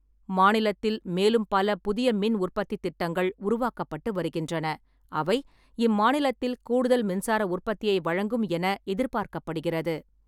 மாநிலத்தில் மேலும் பல புதிய மின் உற்பத்தித் திட்டங்கள் உருவாக்கப்பட்டு வருகின்றன, அவை இம்மாநிலத்தில் கூடுதல் மின்சார உற்பத்தியை வழங்கும் என எதிர்பார்க்கப்படுகிறது.